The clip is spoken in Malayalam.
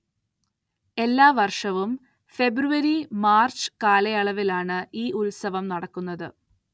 എല്ലാ വര്‍ഷവും ഫെബ്രുവരി മാര്‍ച്ച് കാലയളവില്‍ ആണ് ഈ ഉത്സവം നടക്കുന്നത്